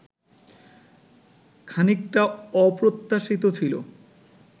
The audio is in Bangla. খানিকটা অপ্রত্যাশিত ছিল